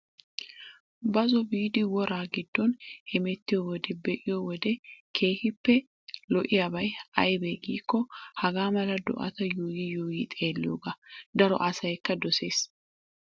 Bazzo biidi wora giddon hemettiyo wode be'iyoo wode keehippe lo''iyabay ayibee giikko hagaa mala do'ata yuuyyi yuuyyi xeelliyooga. daro asayikka doses.